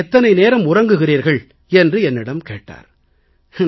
நீங்கள் எத்தனை நேரம் உறங்குகிறீர்கள் என்று என்னிடம் கேட்டார்